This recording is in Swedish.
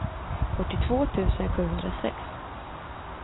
fyrtiotvå tusen sjuhundrasex